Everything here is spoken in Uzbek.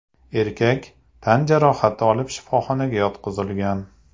(erkak) tan jarohati olib shifoxonaga yotqizilgan.